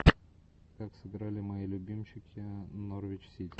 как сыграли мои любимчики норвич сити